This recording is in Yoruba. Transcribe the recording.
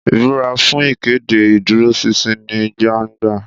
Ìbúra fún ìkéde ìdúróṣinṣin ní gbangba.